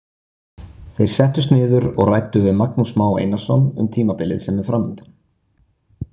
Þeir settust niður og ræddu við Magnús Má Einarsson um tímabilið sem er framundan.